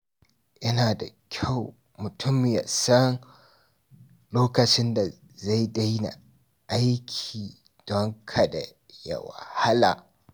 Yana da kyau mutum ya san lokacin da zai daina aiki don kada ya wahala.